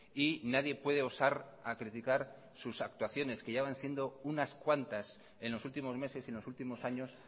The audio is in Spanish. y nadie puede osar a criticar sus actuaciones que ya van siendo unas cuantas en los últimos meses en los últimos años